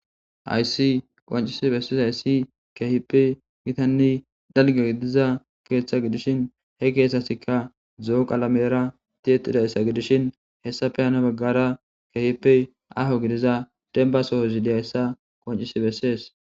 Ayssi qoncisi bessis hayssi keehippe gitanni dalge gidiza keeththa gidishin he keethasikka zoo qalamera tietidayssa gidishin hessafe hana baggara keehippe aho gidiza demba sohozi diyayssa qoncisi bessees.